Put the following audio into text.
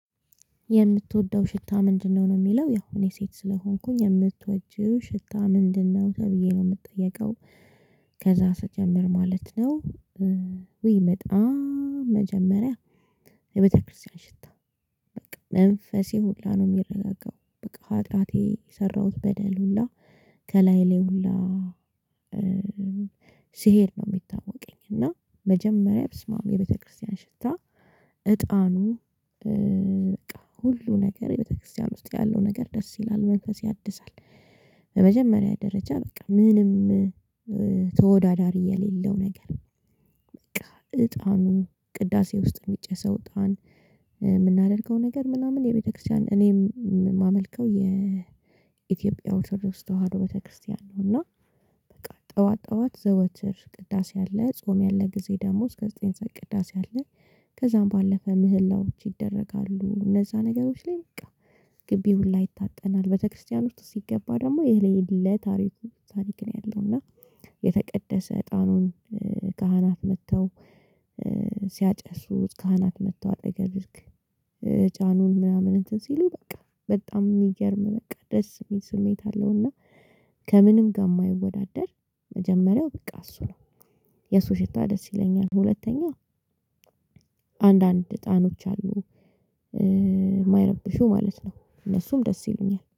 የምትወደው ሽታ ምንድነው? ነው የሚለው ያው የሴት ስለሆንኩኝ የምትወጂው ሽታ ምንድነው ተብዬ ነው የምትጠየቀው። ከዛ ስጀምር ማለት ነው። ውይ በጣም መጀመሪያ የቤተክርስቲያን ሽታ። መንፈሴ ሁላ ነው የሚረጋገው በቃ ሀጥያቴ የሰራሁት በደል ሁላ ከላይ ላይ ሁላ። ስሄድ ነው የሚታወቀኝ እና መጀመሪያ በስመአብ የቤተክርስቲያን ሽታ። እጣኑ ሁሉ ነገር የቤተክርስቲያን ውስጥ ያለው ነገር ደስ ይላል መንፈስ ያድሳል። በመጀመሪያ ደረጃ በቃ ምንም ተወዳዳሪ የሌለው ነገር። በቃ እጣኑ ቅዳሴ ውስጥ የሚጨሰው እጣን። የምናደርገው ነገር ምናምን የቤተክርስቲያን እኔም የማመልከው የኢትዮጵያ ኦርቶዶክስ ተዋህዶ ቤተክርስቲያን ነው። እና በቃ ጠዋት ጠዋት ዘወትር ቅዳሴ አለ ጾም ያለ ጊዜ ደግሞ እስከ ዘጠኝ ሰዓት ቅዳሴ አለ። ከዛም ባለፈ ምህላዎች ይደረጋሉ እነዛ ነገሮች ላይ። ግቢ ሁላ ይታጠናል ቤተክርስቲያን ውስጥ ሲገባ ደግሞ የሌለ ታሪክ። ነው ያለው እና። የተቀደሰ እጣኑን ካህናት መጥተው ሲያጨሱት ካህናት መጥቶ አጠገብ። ዕጣኑን ምናምን እንትን ሲሉ በቃ በጣም የሚገርም በቃ ደስ የሚል ስሜት አለውና። ከምንም ጋር የማይወዳደር መጀመሪያው ቢቃ እሱ ነው። የሱ ሽታ ደስ ይለኛል ሁለተኛ አንዳንድ ጣኖች አሉ። የማይረብሹ ማለት ነው እነሱም ደስ ይለኛል